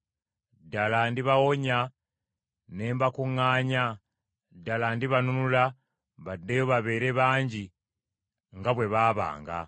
Ddala ndibawonya ne mbakuŋŋaanya. Ddala ndibanunula, baddeyo babeere bangi nga bwe baabanga.